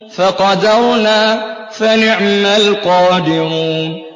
فَقَدَرْنَا فَنِعْمَ الْقَادِرُونَ